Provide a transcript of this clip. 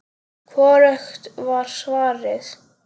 Hvorugt var svarið.